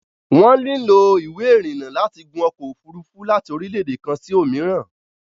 Wọ́n lílò Ìwé ìrìnnà láti gun ọkọ̀ òfurufú láti orílẹ̀dè kan sí òmíìràn